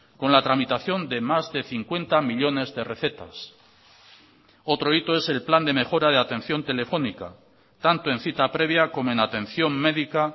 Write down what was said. con la tramitación de más de cincuenta millónes de recetas otro hito es el plan de mejora de atención telefónica tanto en cita previa como en atención médica